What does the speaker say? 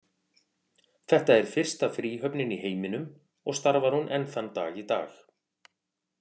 Þetta er fyrsta fríhöfnin í heiminum og starfar hún enn þann dag í dag.